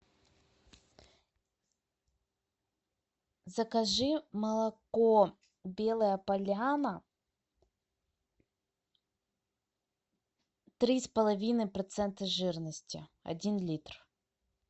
закажи молоко белая поляна три с половиной процента жирности один литр